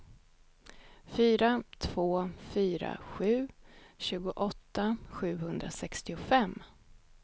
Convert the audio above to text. fyra två fyra sju tjugoåtta sjuhundrasextiofem